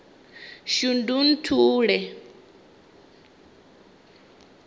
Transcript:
shundunthule